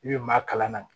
I bɛ maa kalan na